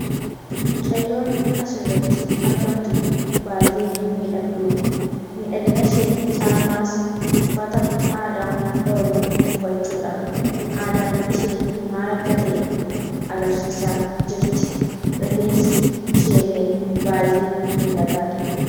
Mucayyoon asirratti argamtu kun baay'ee miidhagduudha. Miidhaginashee caalmaas uffata aadaa oromoo uffachuudhaan aadaan ishee agarsiisaa jirti. Rifeensi isheellee baay'ee miidhagaadha.